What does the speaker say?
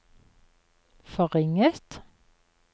forringet